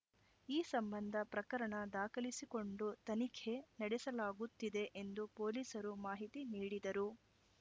ಈ ಸಂಬಂಧ ಪ್ರಕರಣ ದಾಖಲಿಸಿಕೊಂಡು ತನಿಖೆ ನಡೆಸಲಾಗುತ್ತಿದೆ ಎಂದು ಪೊಲೀಸರು ಮಾಹಿತಿ ನೀಡಿದರು